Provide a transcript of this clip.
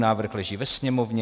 Návrh leží ve Sněmovně.